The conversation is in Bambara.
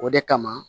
O de kama